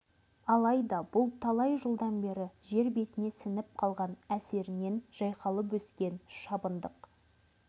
алайда бұл талай жылдан бері жер бетіне сіңіп қалған әсерінен жайқалып өскен шабындық